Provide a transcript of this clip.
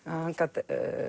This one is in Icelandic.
hann gat